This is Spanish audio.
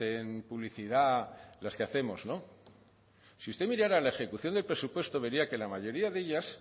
en publicidad las que hacemos no si usted mirara la ejecución del presupuesto vería que la mayoría de ellas